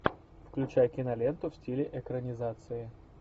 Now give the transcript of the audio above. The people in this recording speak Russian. включай киноленту в стиле экранизации